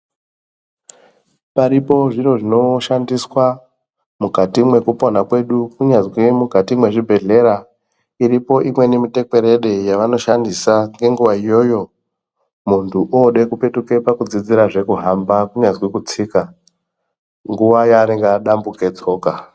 Paripo zviro zvinoshandiswa mukati mwekupona kwedu kunyazwi mukati mezvibhedhlera iripo ikona mitekwerede yavanoshandisa kwenguva iyoyo muntu ode kupekutuka pakudzidzirazve kuhamba kunyazi kutsika nguva yaanenge adambuke tsoka.